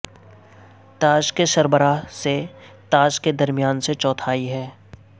تاج کے سربراہ سے تاج کے درمیان سے چوتھائی ہے